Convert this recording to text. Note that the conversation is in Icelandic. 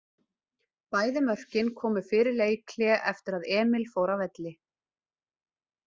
Bæði mörkin komu fyrir leikhlé eftir að Emil fór af velli.